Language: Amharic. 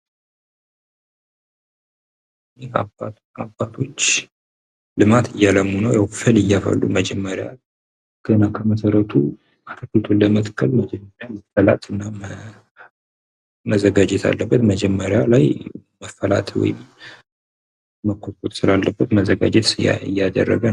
ይህ አባት አባቶች ልማት እያለሙ ነው። ፍል እያፈሉ መጀመሪያ ገና ከመሰረቱ እንድምታዩት በጣም መዘጋጀት አለበት። መጀመሪያ ላይ መፈላት ወይም መዘጋጀት ስላለበት እያደረገ ነው።